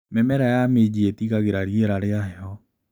Mĩmera ya minji ĩtiragia rĩera ria heho.